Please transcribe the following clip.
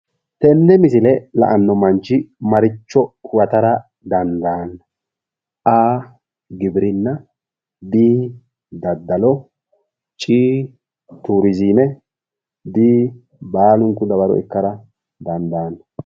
tenne misile la'anno manchi maricho huwatara dandaanno A, giwirinna B, daddalo C, turizime D, baalunku dawaro ikkara dandaanno.